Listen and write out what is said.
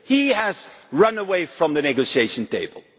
He has run away from the negotiating table.